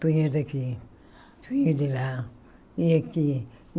Punha daqui, punha de lá, e aqui.